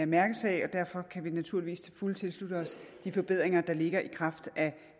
mærkesag og derfor kan vi naturligvis til fulde tilslutte os de forbedringer der ligger i kraft af